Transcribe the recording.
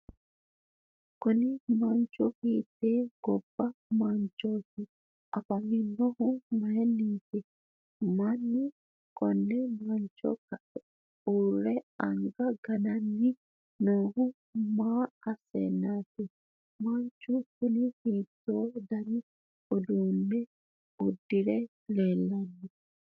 kuni manchu hiitte gobba manchooti? afaminohuno mayiinniiti? mannu konne mancho kae uurre anga gananni noohu maa asseennaati? manchu kuni hiitto dani uddano uddire leellanno?